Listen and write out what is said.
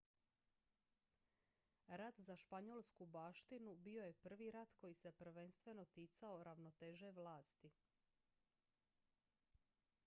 rat za španjolsku baštinu bio je prvi rat koji se prvenstveno ticao ravnoteže vlasti